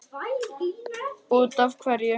Út af hverju?